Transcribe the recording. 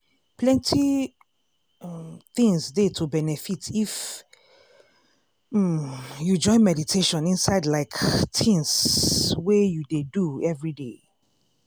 plenty um things dey to benefit if um you join meditation inside like tins um wey you dey do everyday.